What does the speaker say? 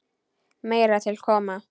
Meira til koma.